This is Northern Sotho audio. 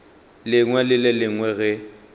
lengwe le le lengwe ge